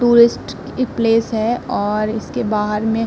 tourist इक place है और इसके बाहर में --